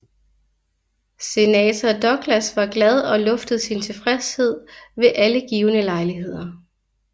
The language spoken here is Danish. Senator Douglas var glad og luftede sin tilfredshed ved alle givne lejligheder